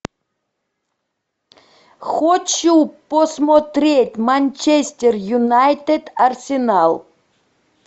хочу посмотреть манчестер юнайтед арсенал